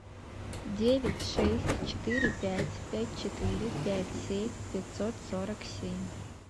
девять шесть четыре пять пять четыре пять семь пятьсот сорок семь